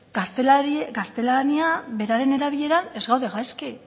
gaztelania beraren erabileran ez gaude gaizki